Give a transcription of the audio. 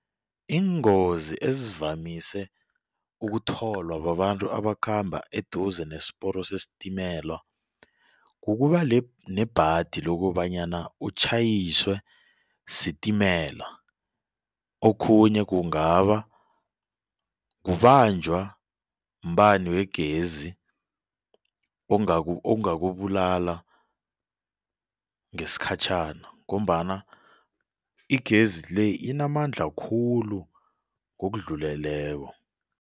Iingozi ezivamise ukutholwa babantu abakhamba eduze ne-siporo sesitimela, kukuba nebhadi lokobanyana utjhayiswe sitimela. Okhunye kungaba kubanjwa mbani wegezi ongakubulala ngesikhatjhana ngombana igezi le inamandla khulu ngokudluleleko.